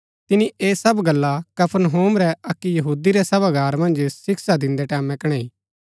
तिनी ऐह सब गल्ला कफरनहूम रै अक्की यहूदी रै सभागार मन्ज शिक्षा दिन्दै टैमैं कणैई